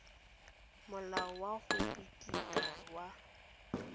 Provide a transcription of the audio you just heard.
molao wa go phiketa wa